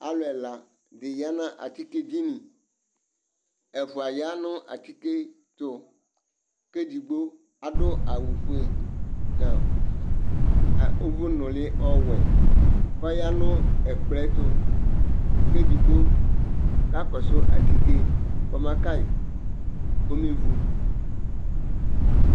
Alʋ ɛla di ya nʋ atike dini Ɛfua ya nʋ atike tʋ kʋ edigbo adʋ awʋ fue nʋ ʋvu nʋli ɔwɛ kʋ ɔya nʋ ɛkplɔ yɛ tʋ, kʋ edigbo kakɔsʋ atike kɔba ka yi kɔbe vu